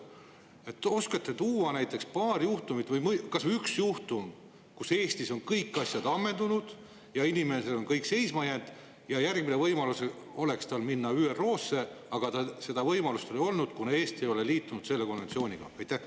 Kas oskate tuua paar juhtumit või kas või ühe juhtumi, mille puhul Eestis on kõik asjad ammendunud ja inimesel on kõik seisma jäänud ja järgmine võimalus oleks tal minna ÜRO-sse, aga tal seda võimalust ei olnud, kuna Eesti ei ole liitunud selle konventsiooniga?